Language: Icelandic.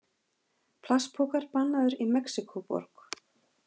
Plastpokar bannaðir í Mexíkóborg